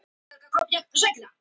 Döðruðum við kjötsala.